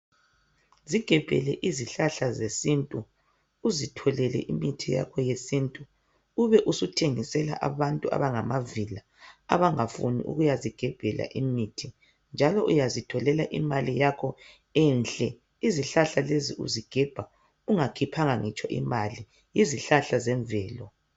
Zigebhele izihlahla zesintu uzitholela imithi yakho yesintu ubesuthengisela abantu abangamavila abangafuni ukuyazigebhela imithi njalo uyazitholela imali yakho enhle izihlahla lezi uzigebha ungakhiphanga ngitsho imali izihlahla ngezemvelo.